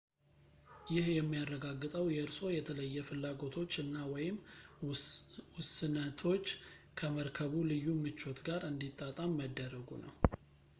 ይህ የሚያረጋግጠው የእርስዎ የተለየ ፍላጎቶች እና/ወይም ውስነቶች ከመርከቡ ልዩ ምቾት ጋር እንዲጣጣም መደረጉ ነው